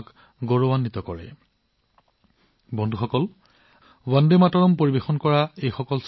এইসকল গ্ৰীচৰ শিক্ষাৰ্থী যিয়ে বন্দে মাতৰম উপস্থাপন কৰিছিল